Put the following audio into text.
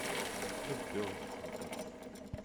хлеб белый буханка